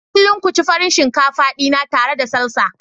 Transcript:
Kullum ku ci Farin shinkafa dina tare da Salsa.